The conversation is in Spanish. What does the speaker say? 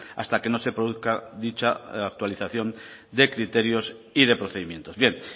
hasta que no se produzca dicha actualización de criterios y de procedimientos bien